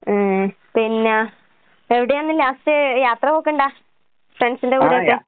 ഏ പിന്നാ എവടയാന്ന് ലാസ്റ്റ് യാത്ര പോക്ക്ണ്ടാ ഫ്രൺസിന്റെ കൂടെയൊക്കെ?